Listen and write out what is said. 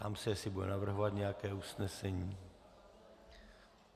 Ptám se, jestli bude navrhovat nějaké usnesení.